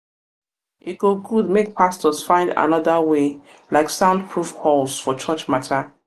e go good make pastors find anoda way like sound-proof halls for church mata